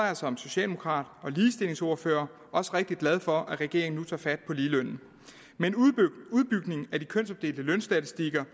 jeg som socialdemokrat og ligestillingsordfører rigtig glad for at regeringen nu tager fat på ligelønnen med udbygningen af de kønsopdelte lønstatistikker